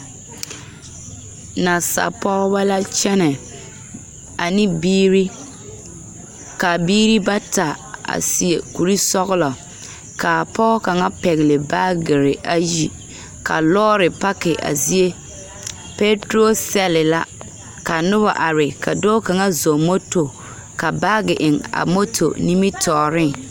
Nasapɔɔbɔ la kyɛnɛ ane biiri, ka a biiri bata a seɛ kursɔglɔ, kaa pɔɔ kaŋa pɛgle baagere ayi, ka lɔɔre pake a zie. Pɛɛturosɛle la ka noba are ka dɔɔ kaŋa zɔm moto ka baage eŋ a moto nimitɔɔreŋ.